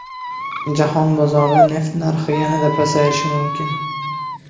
Jahon bozorida neft narxi yanada pasayishi mumkin.